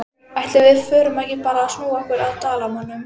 Ætli við förum ekki bara að snúa okkur að Dalamönnum?